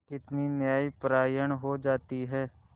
कितनी न्यायपरायण हो जाती है